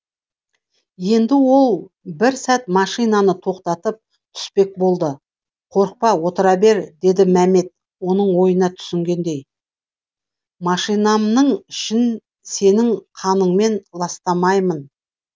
енді ол бір сәт машинаны тоқтатып түспек болды қорықпа отыра бер деді мәмет оның ойына түсінгендей машинамның ішін сенің қаныңмен ластамаймын